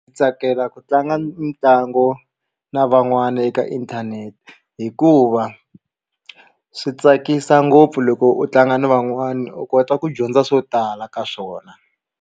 Ndzi tsakela ku tlanga mitlangu na van'wana eka inthanete hikuva swi tsakisa ngopfu loko u tlanga na van'wana u kota ku dyondza swo tala ka swona.